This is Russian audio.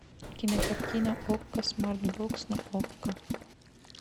кинокартина окко смарт бокс на окко